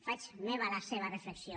faig meva la seva reflexió